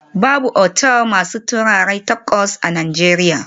Babu otal masu taurari takwas a Najeriya